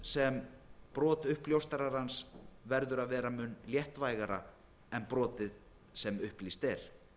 sem brot uppljóstrarans verði að vera mun léttvægara en brotið sem upplýst er